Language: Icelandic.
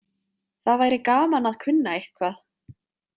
Það væri gaman að kunna eitthvað.